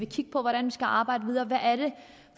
kigge på hvordan vi skal arbejde videre